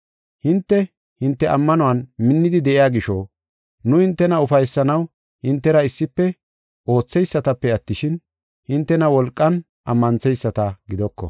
Hinte, hinte ammanuwan minnidi de7iya gisho, nu hintena ufaysanaw hintera issife ootheysatape attishin, hintena wolqan ammantheyisata gidoko.